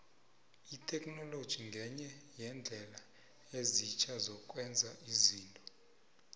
itheknoloji ngenye yeendlela ezitjha zokwenza izinto